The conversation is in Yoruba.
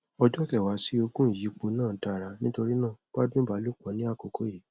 ọjọ kẹwàá sí ogún ìyípo náà dára nítorí náà gbádùn ìbálòpọ ní àkókò yìí